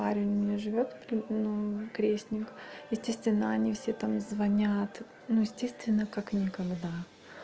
не живёт ну крестник естественно они все там звонят ну естественно как никогда